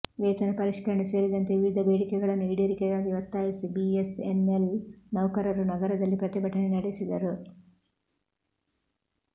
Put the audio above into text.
ವೇತನ ಪರಿಷ್ಕರಣೆ ಸೇರಿದಂತೆ ವಿವಿಧ ಬೇಡಿಕೆಗಳನ್ನು ಈಡೇರಿಕೆಗಾಗಿ ಒತ್ತಾಯಿಸಿ ಬಿಎಸ್ಎನ್ಎಲ್ ನೌಕರರು ನಗರದಲ್ಲಿ ಪ್ರತಿಭಟನೆ ನಡೆಸಿದರು